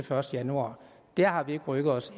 første januar der har vi ikke rykket os